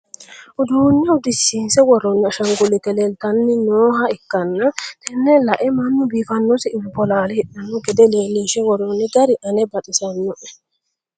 uduunne uddisiinse worroonni ashaanguliite leeltanni nooha ikkanna, tenne lae mannu biiffannosi bolaale hidhanno gede leelinshe worroonni gari ane baxisinoe .